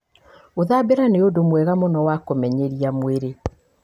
Gũthambĩra nĩ ũndũ mwega mũno wa kũmenyeria mwĩrĩ.